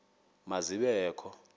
ma zibe kho